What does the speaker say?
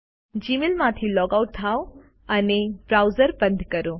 જીમેઈલમાંથી log out થાઓ અને browser બંધ કરો